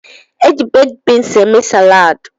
Eji bakid beans eme salaadi.